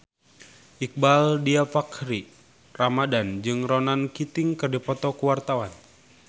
Iqbaal Dhiafakhri Ramadhan jeung Ronan Keating keur dipoto ku wartawan